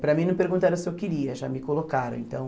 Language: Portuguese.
Para mim não perguntaram se eu queria, já me colocaram então.